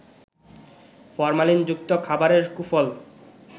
ফরমালিনযুক্ত খাবারের কুফল